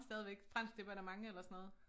Stadigvæk fransk det var da mange eller sådan noget